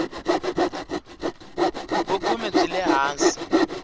vukhume byi le hansi